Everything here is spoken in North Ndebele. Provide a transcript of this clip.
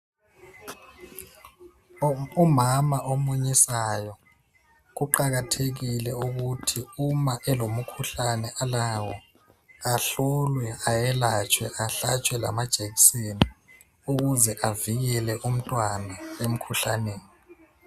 Umama omunyisayo kuqakathekile ukuthi uma elomkhuhlane ahlolwe ayelatshwe, ahlatshwe lamajekiseni ukuze evikele umntwana emkhuhlaneni.